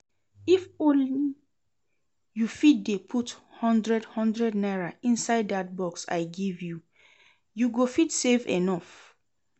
If ony you fit dey put hundred hundred naira inside dat box I give you, you go fit save enough